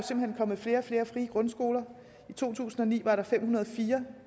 kommet flere og flere frie grundskoler i to tusind og ni var der fem hundrede og fire